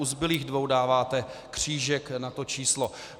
U zbylých dvou dáváte křížek na to číslo.